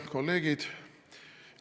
Kolleegid!